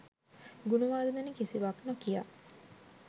ගුණවර්ධන කිසිවක් නොකියා